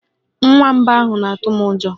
Nwamba ahụ na-atụ m ụjọ